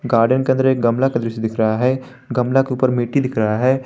Garden के अदंर एक गमला का दृश्य दिख रहा है गमला के ऊपर मिट्टी दिख रहा है।